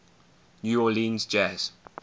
new orleans jazz